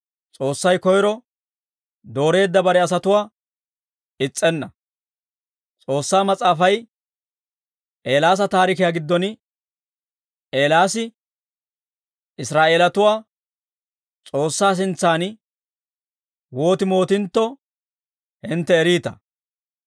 S'oossay koyro dooreedda bare asatuwaa is's'enna; S'oossaa Mas'aafay, Eelaasa taarikiyaa giddon, Eelaasi Israa'eelatuwaa S'oossaa sintsan wooti mootintto, hintte eriita.